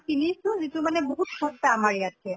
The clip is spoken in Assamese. কিনিছো যিটো মানে বিহুত সস্তা আমাৰ ইয়াতকে